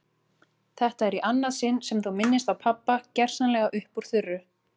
Þetta er í annað sinn sem þú minnist á pabba gersamlega upp úr þurru.